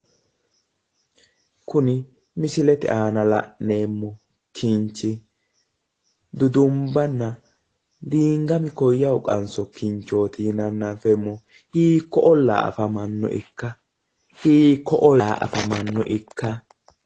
Kuni misilete aana la'neemmo kinchi dudumbanna diingami koyyahu qanso kinchooti yinanna anfeemmohu hiikko ollaa afamanno ikka? Hiikko ollaa afamanno ikka?